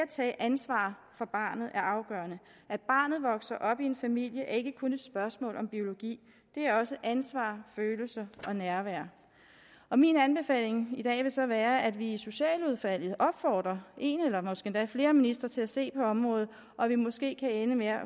tage ansvar for barnet er afgørende at barnet vokser op i en familie er ikke kun et spørgsmål om biologi det er også ansvar følelser og nærvær min anbefaling i dag vil så være at vi i socialudvalget opfordrer en eller måske endda flere ministre til at se på området og at vi måske kan ende med at